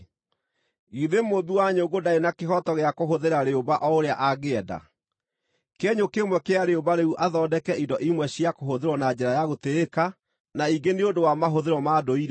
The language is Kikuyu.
Githĩ mũũmbi wa nyũngũ ndarĩ na kĩhooto gĩa kũhũthĩra rĩũmba o ũrĩa angĩenda; kĩenyũ kĩmwe kĩa rĩũmba rĩu athondeke indo imwe cia kũhũthĩrwo na njĩra ya gũtĩĩka na ingĩ nĩ ũndũ wa mahũthĩro ma ndũire?